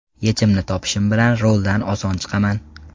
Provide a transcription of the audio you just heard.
Yechimini topishim bilan roldan oson chiqaman.